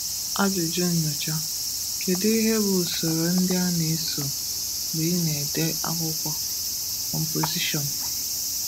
Ajụjụ Nnyocha: Kedu ihe bụ usoro ndị a na-eso mgbe ị na-ede akwụkwọ (composition)?